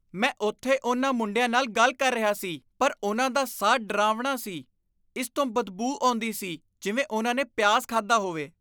ਮੈਂ ਉੱਥੇ ਉਨ੍ਹਾਂ ਮੁੰਡਿਆਂ ਨਾਲ ਗੱਲ ਕਰ ਰਿਹਾ ਸੀ ਪਰ ਉਨ੍ਹਾਂ ਦਾ ਸਾਹ ਡਰਾਵਣਾ ਸੀ। ਇਸ ਤੋਂ ਬਦਬੂ ਆਉਂਦੀ ਸੀ ਜਿਵੇਂ ਉਨ੍ਹਾਂ ਨੇ ਪਿਆਜ਼ ਖਾਧਾ ਹੋਵੇ।